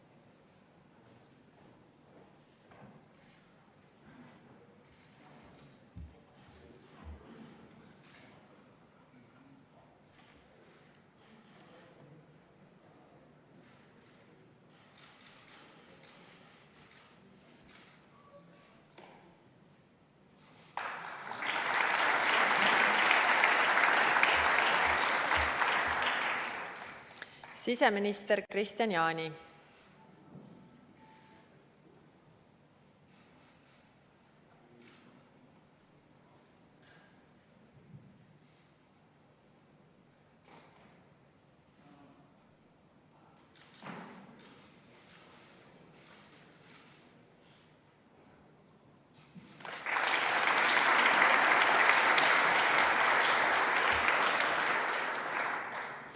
Siseminister Kristian Jaani.